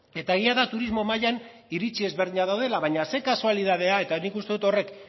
eta egia da turismo mailan iritzi ezberdinak daudela baina ze kasualitatea eta nik uste dut horrek